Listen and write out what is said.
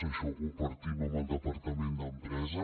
això ho compartim amb el departament d’empresa